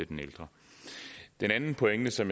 den ældre den anden pointe som